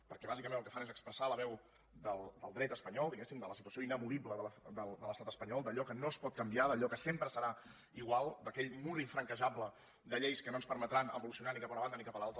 perquè bàsicament el que fan és expressar la veu del dret espanyol diguéssim de la situació inamovible de l’estat espanyol d’allò que no es pot canviar d’allò que sempre serà igual d’aquell mur infranquejable de lleis que no ens permetran evolucionar ni cap a una banda ni cap a l’altra